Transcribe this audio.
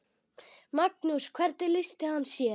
Magnús: Hvernig lýsti hann sér?